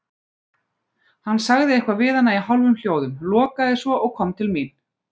Hann sagði eitthvað við hana í hálfum hljóðum, lokaði svo og kom til mín.